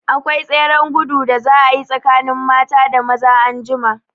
Akwai tseren gudu da za a yi tsakanin mata da maza anjima.